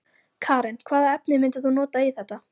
Karen: Hvaða efni myndir þú nota í þetta?